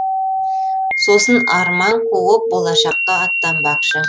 сосын арман қуып болашаққа аттанбақшы